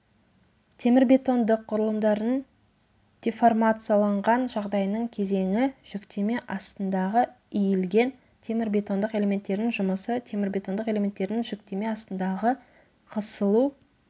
темірбетондық құрылымдардың деформацияланған жағдайының кезеңі жүктеме астындағы иілген темірбетондық элементтердің жұмысы темірбетондық элементтердің жүктеме астындағы қысылу